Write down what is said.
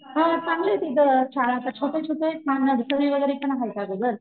हो चांगलय तिथं शाळा आता छोट्या छोट्या ना असं नर्सरी वैगेरे पण अगोदर,